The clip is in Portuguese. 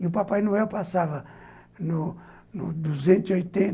E o Papai Noel passava no no duzentos e oitenta